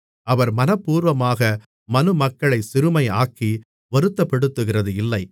அவர் மனப்பூர்வமாக மனுமக்களைச் சிறுமையாக்கி வருத்தப்படுத்துகிறதில்லை